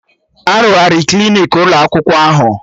Arụgharị Klinik ụlọ akwụkwọ ahụ